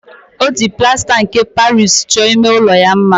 O jiri plasta nke Paris cho ime ulo ya mma.